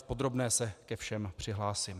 V podrobné se ke všem přihlásím.